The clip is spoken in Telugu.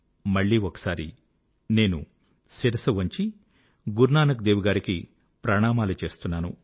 మళ్ళీ ఒకసారి నేను శిరసు వంచి గురునానక్ దేవ్ గారికి ప్రణామాలు చేస్తున్నాను